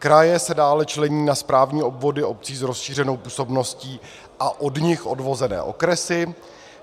Kraje se dále člení na správní obvody obcí s rozšířenou působností a od nich odvozené okresy.